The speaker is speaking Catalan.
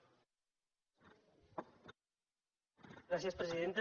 gràcies presidenta